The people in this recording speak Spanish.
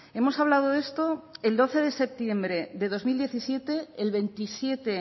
hemos hablado de esto el doce de septiembre de dos mil diecisiete el veintisiete